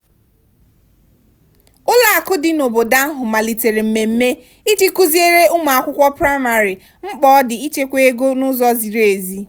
ụlọakụ dị n'obodo ahụ malitere mmemme iji kụziere ụmụakwụkwọ praịmarị mkpa ọ dị ịchekwa ego n'ụzọ ziri ezi.